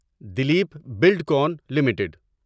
Dilip Buildcon limited